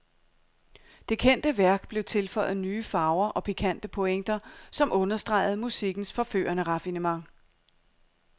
Det kendte værk blev tilføjet nye farver og pikante pointer, som understregede musikkens forførende raffinement.